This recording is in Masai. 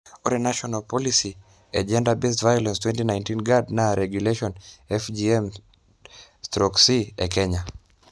ore national policy e gender based violence 2019 guide naa regulation FGM/C e kenya